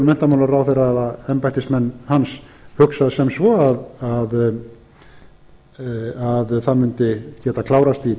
menntamálaráðherra eða embættismenn hans hugsað sem svo að það mundi geta klárast í